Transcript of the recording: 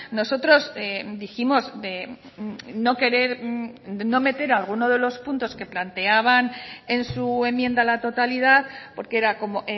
nosotros dijimos de no querer de no meter alguno de los puntos que planteaban en su enmienda a la totalidad porque era como